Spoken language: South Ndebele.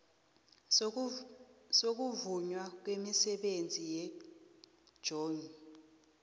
sokuvunywa kwemisebenzi yegmo